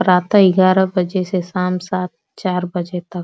प्रातः इगार बजे से शाम सात चार बजे तक।